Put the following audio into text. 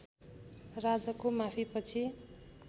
राजाको माफीपछि